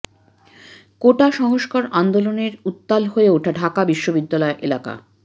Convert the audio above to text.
কোটা সংস্কার আন্দোলনের সময় উত্তাল হয়ে ওঠে ঢাকা বিশ্ববিদ্যালয় এলাকা